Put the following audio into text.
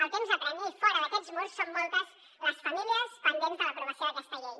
el temps apressa i fora d’aquests murs són moltes les famílies pendents de l’aprovació d’aquesta llei